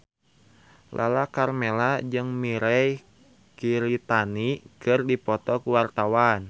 Lala Karmela jeung Mirei Kiritani keur dipoto ku wartawan